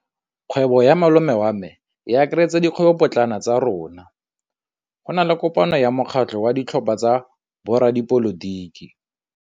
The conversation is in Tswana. Kgwêbô ya malome wa me e akaretsa dikgwêbôpotlana tsa rona. Go na le kopanô ya mokgatlhô wa ditlhopha tsa boradipolotiki.